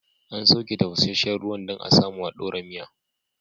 An sauke tafasashen ruwan dan a samu a dora miya